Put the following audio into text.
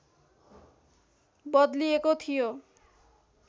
बदलिएको थियो